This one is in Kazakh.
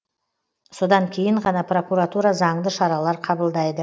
содан кейін ғана прокуратура заңды шаралар қабылдайды